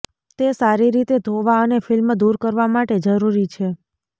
તે સારી રીતે ધોવા અને ફિલ્મ દૂર કરવા માટે જરૂરી છે